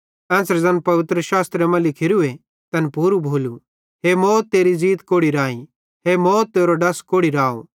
एन्च़रे ज़ैन पवित्रशास्त्रे मां लिखोरू तैन पूरू भोलू हे मौत तेरी ज़ींत कोड़ि राई हे मौत तेरो डस कोड़ि राव